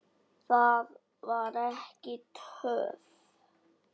Það var ekki töff.